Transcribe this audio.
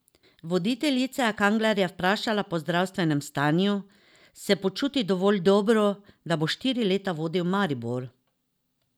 Voditeljica je Kanglerja vprašala po zdravstvenem stanju, se počuti dovolj dobro, da bo štiri leta vodil Maribor?